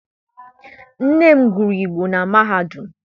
Nne m gụrụ Igbo na mahadum.